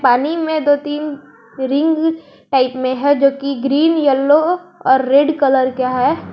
पानी में दो तीन रिंग टाइप में है जोकि ग्रीन यलो और रेड कलर का है।